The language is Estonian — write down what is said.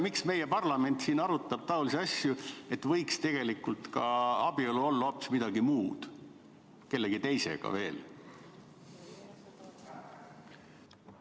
Miks meie parlament arutab taolisi asju, tegelikult võiks abielu olla hoopis midagi muud, kellegi teisega võiks veel?